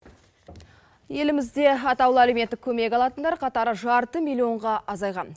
елімізде атаулы әлеуметтік көмек алатындар қатары жарты миллионға азайған